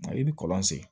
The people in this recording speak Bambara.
Nka i bi kɔlɔn sen